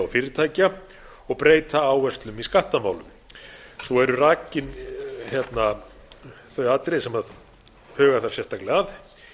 og fyrirtækja og breyta áherslum í skattamálum svo eru rakin þau atriði sem huga þarf sérstaklega að